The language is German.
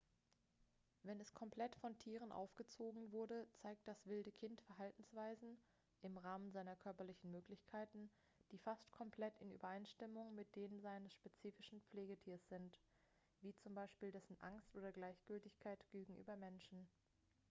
wenn es komplett von tieren aufgezogen wurde zeigt das wilde kind verhaltensweisen im rahmen seiner körperlichen möglichkeiten die fast komplett in übereinstimmung mit denen seines spezifischen pflegetiers sind wie z.b. dessen angst oder gleichgültigkeit gegenüber menschen